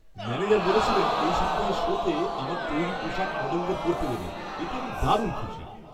Manager বলেছিলেন এই সপ্তাহের শোতে আমার তৈরি পোশাক মডেলদের পরতে দেবেন, এতে আমি দারুণ খুশি।